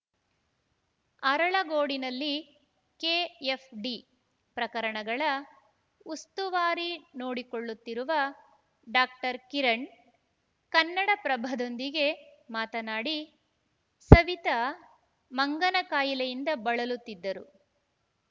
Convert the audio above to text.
ಅರಳಗೋಡಿನಲ್ಲಿ KFD ಪ್ರಕರಣಗಳ ಉಸ್ತುವಾರಿ ನೋಡಿಕೊಳ್ಳುತ್ತಿರುವ ಡಾಕ್ಟರ್ ಕಿರಣ್‌ ಕನ್ನಡಪ್ರಭದೊಂದಿಗೆ ಮಾತನಾಡಿ ಸವಿತಾ ಮಂಗನಕಾಯಿಲೆಯಿಂದ ಬಳಲುತ್ತಿದ್ದರು